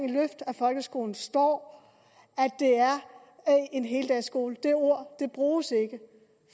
løft af folkeskolen står at at det er en heldagsskole det ord bruges ikke